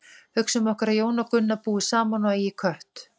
Hugsum okkur að Jón og Gunna búi saman og eigi kött.